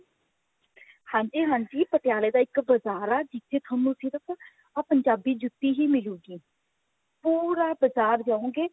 ਹਾਂਜੀ ਹਾਂਜੀ ਪਟਿਆਲੇ ਦਾ ਇੱਕ ਬਜ਼ਾਰ ਹੈ ਜਿੱਥੇ ਤੁਹਾਨੂੰ ਸਿਰਫ ਆਹ ਪੰਜਾਬੀ ਜੁੱਤੀ ਹੀ ਮਿਲੂਗੀ ਪੂਰਾ ਬਜ਼ਾਰ ਜਾਓਗੇ